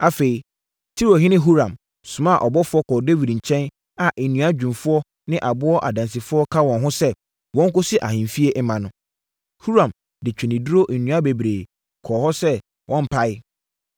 Afei, Tirohene Huram somaa abɔfoɔ kɔɔ Dawid nkyɛn a nnua dwumfoɔ ne aboɔ adansifoɔ ka wɔn ho sɛ wɔnkɔsi ahemfie mma no. Huram de ntweneduro nnua bebree kɔɔ hɔ sɛ wɔmpae.